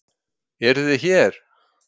Eruð þið hér?